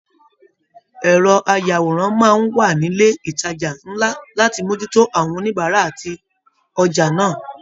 Ẹrọ ayàwòrán máa n wà nilè ìtàjà nlá láti mojútó àwọn oníbárà àti ojà náà.